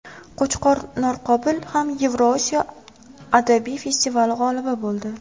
Qo‘chqor Norqobil ham Yevrosiyo adabiy festivali g‘olibi bo‘ldi.